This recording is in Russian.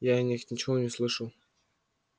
я о них ничего не слышал